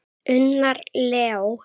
Unnar Leó.